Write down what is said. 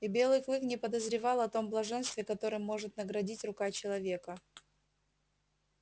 и белый клык не подозревал о том блаженстве которым может наградить рука человека